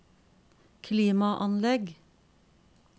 klimaanlegg